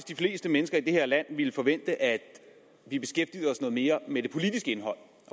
de fleste mennesker i det her land ville forvente at vi beskæftigede os noget mere med det politiske indhold